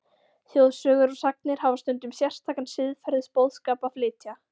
Þjóðsögur og sagnir hafa stundum sérstakan siðferðisboðskap að flytja.